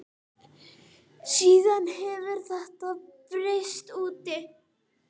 Síðan hefur þetta breiðst út.